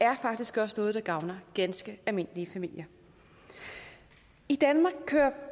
er faktisk også noget der gavner ganske almindelige familier i danmark kører